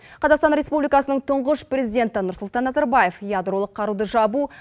қазақстан республикасының тұңғыш президенті нұрсұлтан назарбаев ядролық қаруды жабу